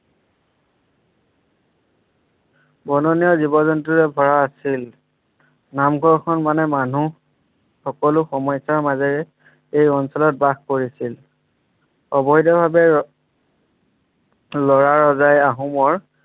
বননীয় জীৱ-জন্তুৰে ভৰা আছিল। নামঘৰখন মানে মানুহ সকলো সমস্যাৰ মাজেৰে এই অঞ্চলত বাস কৰিছিল অবৈধ ভাৱে লৰা ৰজাই আহোমৰ